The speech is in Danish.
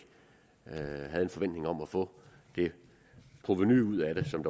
havde haft en forventning om at få det provenu ud af det som